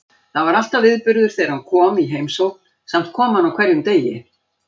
Það var alltaf viðburður þegar hann kom í heimsókn, samt kom hann á hverjum degi.